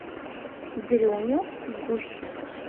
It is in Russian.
дрюню гущина